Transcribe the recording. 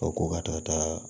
O ko ka taa